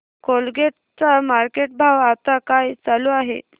Colgate चा market भाव आता काय चालू आहे